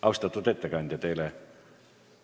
Austatud ettekandja!